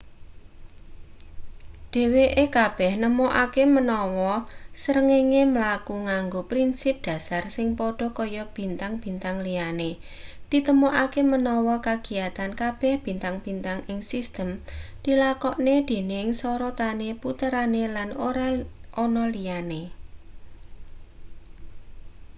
dheweke kabeh nemokake menawa srengenge mlaku nganggo prinsip dhasar sing padha kaya bintang-bintang liyane: ditemokake menawa kagiyatan kabeh bintang-bintang ing sistem dilakokne dening sorotane puterane lan ora ana liyane.‘